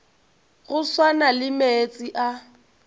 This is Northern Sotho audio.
go swana le meetse a